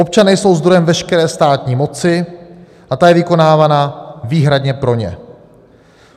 Občané jsou zdrojem veškeré státní moci a ta je vykonávána výhradně pro ně.